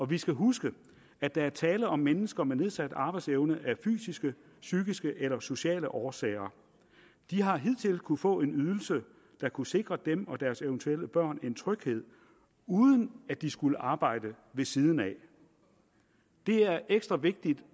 vi skal huske at der er tale om mennesker med nedsat arbejdsevne af fysiske psykiske eller sociale årsager de har hidtil kunnet få en ydelse der kunne sikre dem og deres eventuelle børn en tryghed uden at de skulle arbejde ved siden af det er ekstra vigtigt